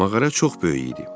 Mağara çox böyük idi.